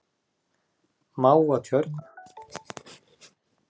Mávatjörn